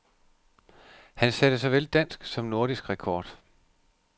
Han satte såvel dansk som nordisk rekord.